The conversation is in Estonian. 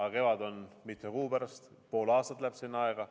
Aga kevad on mitme kuu pärast, pool aastat läheb aega.